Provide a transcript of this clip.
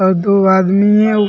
आऊ दू आदमी हे आऊ--